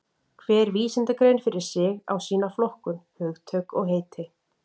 Hver vísindagrein fyrir sig á sína flokkun, hugtök og heiti.